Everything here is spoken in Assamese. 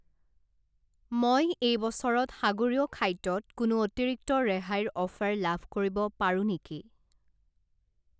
মই এই বছৰত সাগৰীয় খাদ্যত কোনো অতিৰিক্ত ৰেহাইৰ অফাৰ লাভ কৰিব পাৰোঁ নেকি?